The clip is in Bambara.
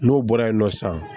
N'o bɔra yen nɔ sisan